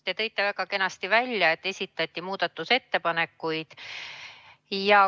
Te tõite väga kenasti välja, et esitati ka muudatusettepanekuid.